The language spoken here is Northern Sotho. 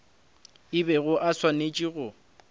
a bego a swanetše go